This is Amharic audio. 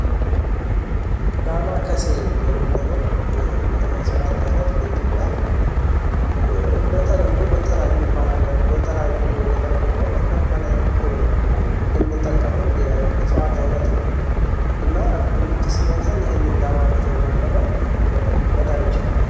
ዳማከሴ የምንለው የዕፅዋት አይነት በኢትዮጵያ በተለምዶ በተለያዩ የገጠር ቦታዎች እንደ ባህላዊ ህክምና ከምንጠቀመው የዕጽዋት አይነት ነው። እና ምች ሲመታን ይህንን ደማከሴ በመጠቀም መዳን እንችላለን።